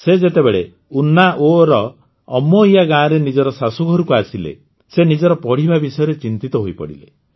ସେ ଯେତେବେଳେ ଉନ୍ନାୱର ଅମୋଇୟା ଗାଁରେ ନିଜର ଶାଶୁଘରକୁ ଆସିଲେ ସେ ନିଜର ପଢ଼ିବା ବିଷୟରେ ଚିନ୍ତିତ ହୋଇପଡ଼ିଲେ